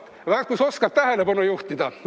Vaat, kus oskad tähelepanu juhtida.